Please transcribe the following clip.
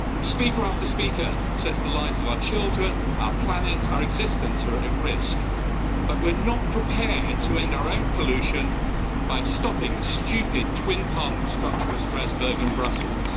Speaker after speaker says that the lives of our children, our planet and our existence are at risk, but we're not prepared to end our own pollution by stopping this stupid twin-Parliament structure of Strasbourg and Brussels.